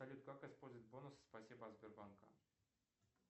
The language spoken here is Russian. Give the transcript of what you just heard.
салют как использовать бонусы спасибо от сбербанка